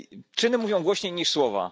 Czyny mówią głośniej niż słowa.